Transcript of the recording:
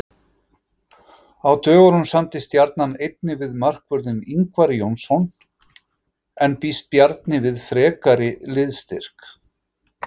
Á dögunum samdi Stjarnan einnig við markvörðinn Ingvar Jónsson en býst Bjarni við frekari liðsstyrk?